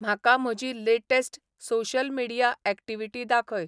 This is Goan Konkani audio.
म्हाका म्हजी लेटॅस्ट सोशल मिडीया ऍक्टीवीटी दाखय